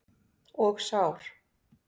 Og sár.